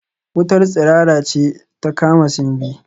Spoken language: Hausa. Wutar tsirara ce ta kama Simbi